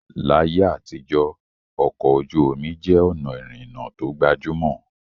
Láyé àtijọ́, ọkọ̀ ojú omi jẹ́ ọ̀nà ìrìnnà tó gbajúmọ̀